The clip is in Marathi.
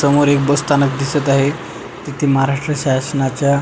समोर एक बस स्थानक दिसत आहे तिथे महाराष्ट्र शासनाच्या--